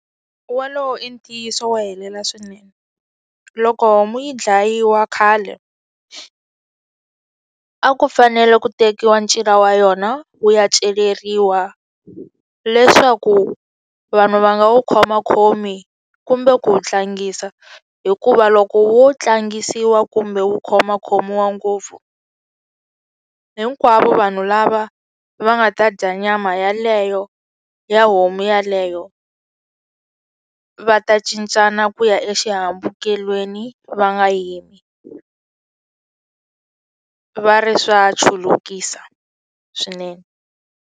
Wolowo i ntiyiso wo helela swinene loko homu yi dlayiwa khale a ku fanele ku tekiwa ncila wa yona wu ya celeriwa leswaku vanhu va nga wu khomakhomi kumbe ku wu tlangisa hikuva loko wo tlangisiwa kumbe wu khomakhomiwa ngopfu hinkwavo vanhu lava va nga ta dya nyama yaleyo ya homu yaleyo va ta cincana ku ya exihambukelweni va nga yimi va ri swa chulukisa swinene.